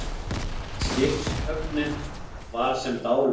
Skipshöfnin var sem dáleidd.